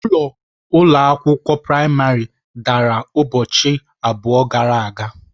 Ụlọ ụlọ akwụkwọ praịmarị dara ụbọchị abụọ gara aga.